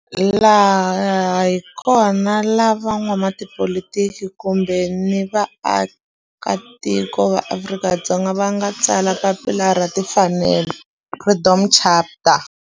Laha hi kona la van'watipolitiki kun'we ni vaaka tiko va Afrika-Dzonga va nga tsala papila ra timfanelo, Freedom Charter.